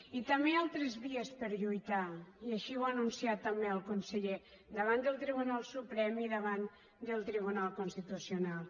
i també hi ha altres vies per lluitar i així ho ha anunciat també el conseller davant del tribunal suprem i davant del tribunal constitucional